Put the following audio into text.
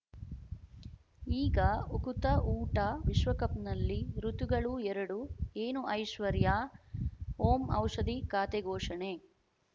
ಈಗ ಉಕುತ ಊಟ ವಿಶ್ವಕಪ್‌ನಲ್ಲಿ ಋತುಗಳು ಎರಡು ಏನು ಐಶ್ವರ್ಯಾ ಓಂ ಔಷಧಿ ಖಾತೆ ಘೋಷಣೆ